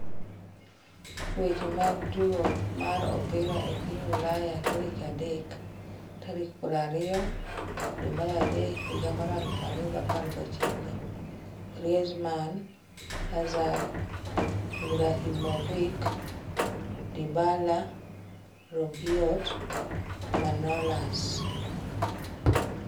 Weche mag tugo mar opira e piny Ulaya tarik adek tarik 20.03.2019: Griezmann, Hazard, Ibrahimovic, Dybala, Rabiot, Manolas